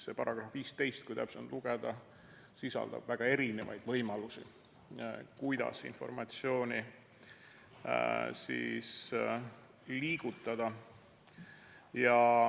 See § 15, kui täpsemalt lugeda, sisaldab väga erinevaid võimalusi informatsiooni liigutada.